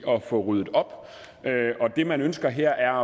at få ryddet op og det man ønsker her er